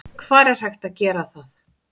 Hvar er hægt að gera það?